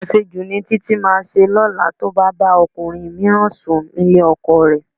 Àṣejù ni Títí máa ṣe lọ́la tí ó bá bá ọkùnrin mìíràn sùn nílé ọkọ rẹ̀